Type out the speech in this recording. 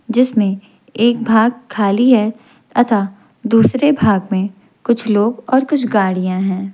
जिसमें एक भाग खाली है तथा दूसरे भाग में कुछ लोग और कुछ गाड़ियां हैं।